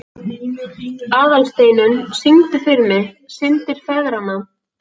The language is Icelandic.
Aðalsteinunn, syngdu fyrir mig „Syndir feðranna“.